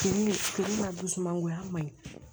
Fini fini ka dusumangoya man ɲi